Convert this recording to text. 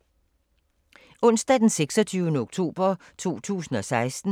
Onsdag d. 26. oktober 2016